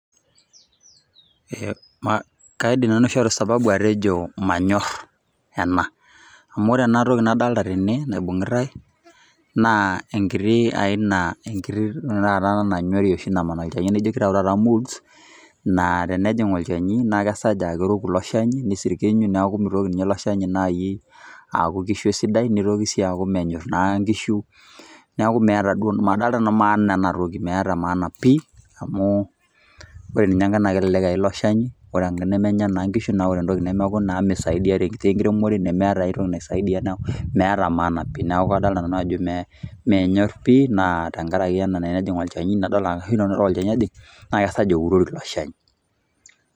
Kaidim nanu aishoru sababu atejo manyorr ena, amu ore enatoki nadolita tene naibung'itai naa enkiti aina, enkiti taata nanyori oshi naman olchani, naijo keitayu taata molds naa tenejing' olchani naa kesej aa keroku ilo shani neisirkiinyu, neeku meitoki ninye ilo shani aaku keishu sidai neitoki sii aku menyorr naa nkishu. Neeku madolita nanu maana enatoki, meeta maana pii amu ore ninye enkae naa kelelek eye ilo shani ore enkae nemenya naa nkishu naa ore entoki nemeeku naa meisaidia tesiai enkiremore nemeeta ai toki naisaidia neeku meeta maana pii, neeku kadolita ajo manyorr pii tenkarake ore olchani ojing' naa kesej eurori ilo shani.